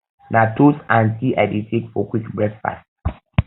na toast and tea i dey take for quick breakfast